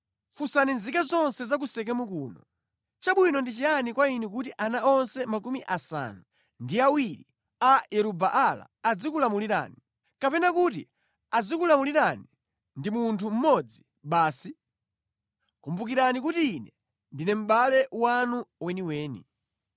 “Funsani nzika zonse za ku Sekemu kuno, ‘Chabwino ndi chiyani kwa inu kuti ana onse makumi asanu ndi awiri a Yeru-Baala azikulamulirani, kapena kuti azikulamulirani ndi munthu mmodzi basi?’ Kumbukirani kuti ine ndine mʼbale wanu weniweni.”